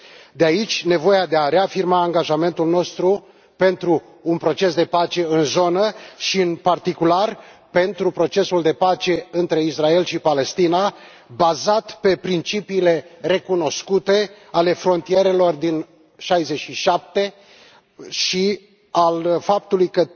De aici, nevoia de a reafirma angajamentul nostru pentru un proces de pace în zonă și, în particular, pentru procesul de pace între Israel și Palestina, bazat pe principiile recunoscute ale frontierelor din 1967 și pe faptul că